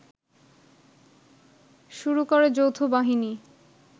শুরু করে যৌথবাহিনী